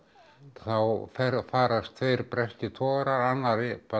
þá farast tveir breskir togarar annar